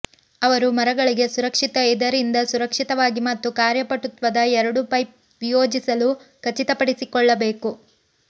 ಅವರು ಮರಗಳಿಗೆ ಸುರಕ್ಷಿತ ಇದರಿಂದ ಸುರಕ್ಷಿತವಾಗಿ ಮತ್ತು ಕಾರ್ಯಪಟುತ್ವದ ಎರಡೂ ಪೈಪ್ ವಿಯೋಜಿಸಲು ಖಚಿತಪಡಿಸಿಕೊಳ್ಳಿ ಬೇಕು